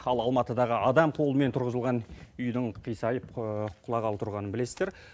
ал алматыдағы адам қолымен тұрғызылған үйдің қисайып құлағалы тұрғанын білесіздер